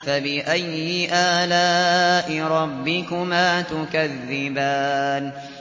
فَبِأَيِّ آلَاءِ رَبِّكُمَا تُكَذِّبَانِ